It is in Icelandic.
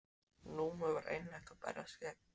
Númi var einlægt að berjast gegn.